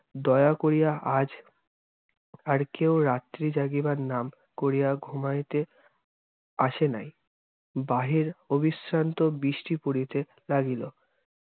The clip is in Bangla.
দয়া করিয়া আজ আর কেও রাত্রি জাগিবার নাম করিয়া ঘুমাইতে আশেনাই। বাহির অবিশ্রান্ত বৃষ্টি পরিতে লাগিল।